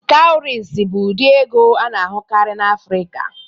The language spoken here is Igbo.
Kawurisi bụ ụdị ego a na-ahụkarị n'Afrika.